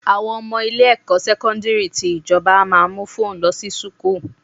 Àwọn ọmọ ilé-ẹ̀kọ́ sẹ́kọ́ńdìrì tí ìjọba a máa mú fóònù lọ sí sùkúrù.